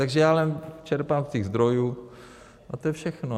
Takže já jen čerpám z těch zdrojů a to je všechno.